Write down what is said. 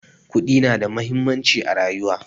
Kuɗi na da muhimmanci a rayuwa